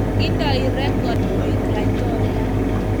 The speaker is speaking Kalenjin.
Indoi rekod koek Laitoriat.